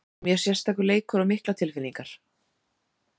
Þetta er mjög sérstakur leikur og miklar tilfinningar.